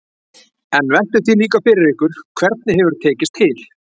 En veltið því líka fyrir ykkur hvernig hefur tekist til?